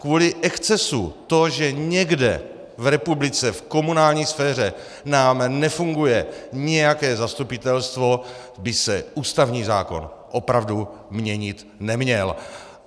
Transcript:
Kvůli excesu to, že někde v republice, v komunální sféře nám nefunguje nějaké zastupitelstvo, by se ústavní zákon opravdu měnit neměl.